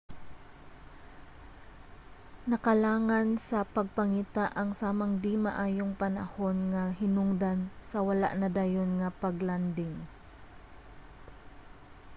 nakalangan sa pagpangita ang samang di-maayong panahon nga hinungdan sa wala nadayon nga pag-landing